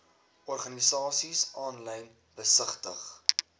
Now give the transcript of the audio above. organisasies aanlyn besigtig